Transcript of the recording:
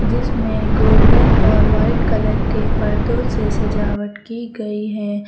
जिसमें गोल्डेन और white colour के पर्दों से सजावट की गई है।